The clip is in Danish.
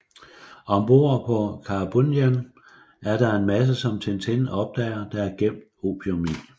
Ombord på Karaboudjan er der en masse som Tintin opdager der er gemt opium i